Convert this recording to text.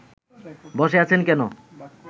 বসে আছেন কেন